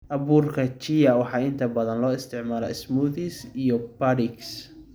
Abuurka Chia waxaa inta badan loo isticmaalaa smoothies iyo puddings.